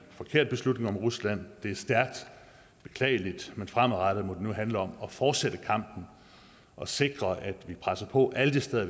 forkert beslutning om rusland det er stærkt beklageligt men fremadrettet må det nu handle om at fortsætte kampen og sikre at vi presser på alle de steder